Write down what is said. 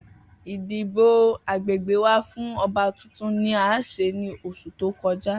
Idibo agbegbe wa fun ọba tuntun ni a ṣe ni oṣu to kọja.